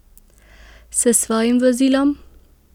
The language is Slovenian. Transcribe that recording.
S svojim vozilom?